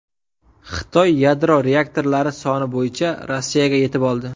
Xitoy yadro reaktorlari soni bo‘yicha Rossiyaga yetib oldi.